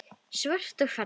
Svört og falleg.